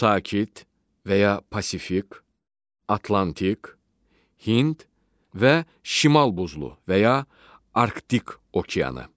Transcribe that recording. Sakit və ya Pasifik, Atlantik, Hind və Şimal Buzlu və ya Arktik okeanı.